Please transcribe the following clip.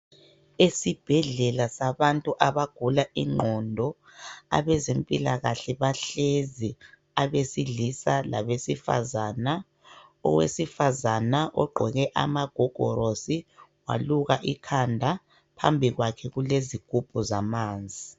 esibhedlela sabantu abagula inqondo abezempilakahle bahlezi abesilisa labesifazana owesifazana ogqoke amagogolosi waluka ikhanda phambi kwakhe kulezigubhu zamanzi